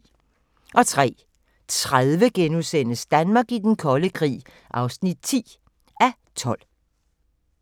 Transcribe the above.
03:30: Danmark i den kolde krig (10:12)*